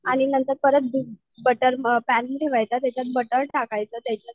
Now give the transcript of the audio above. आणि नंतर butter pan ठेवायचा त्याच्यात बटर टाकायचं त्याच्यात